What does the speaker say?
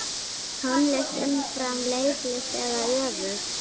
Tónlist umfram leiklist eða öfugt?